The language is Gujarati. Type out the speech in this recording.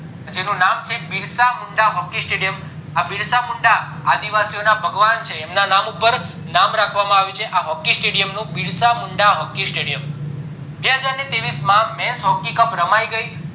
એનું નામ છે બીન્સ મુંડા hockey stadium આ બીન્સ મુંડા આદિવાસીઓના ભગવાન છે એમના નામ ઉપર નામ રાખવામાં આવ્યું છે આ hockey stadium નું બીલસા મુંડા hockey stadium બે હજાર ને ત્રેવીસ માં મેન્સ hockey રમાય ગય